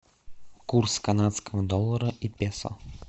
курс канадского доллара и песо